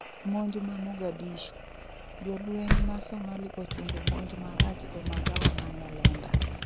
monj ma Mogadishu :jolweny ma somali ochungo monj marach e magawa ma Nyalenda